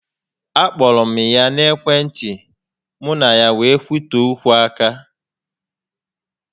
A kpọrọ m ya na ekwe ntị, mụ na ya wee kwutee okwu aka